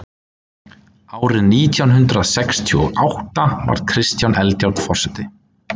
árið nítján hundrað sextíu og átta varð kristján eldjárn forseti